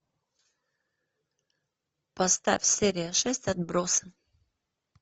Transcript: поставь серия шесть отбросы